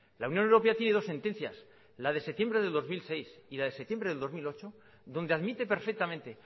la unión europea tiene dos sentencias la de septiembre del dos mil seis y la de septiembre del dos mil ocho donde admite perfectamente